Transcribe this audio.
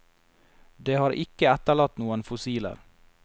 Det har ikke etterlatt noen fossiler.